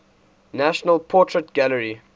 national portrait gallery